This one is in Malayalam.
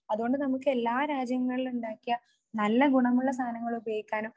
അതുകൊണ്ട് നമുക്ക് എല്ലാ രാജ്യങ്ങളിലും ഉണ്ടാക്കിയ നല്ല ഗുണമുള്ള സാധങ്ങൾ ഉപയോഗിക്കാനും